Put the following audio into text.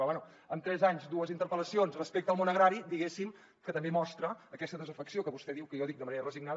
però bé amb tres anys dues interpel·lacions respecte al món agrari diguéssim que també mostra aquesta desafecció que vostè diu que jo dic de manera resignada